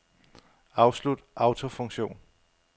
Afslut autofunktion.